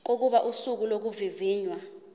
kokuba usuku lokuvivinywa